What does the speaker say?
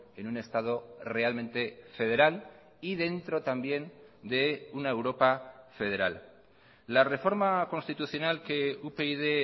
en un estado realmente federal y dentro también de una europa federal la reforma constitucional que upyd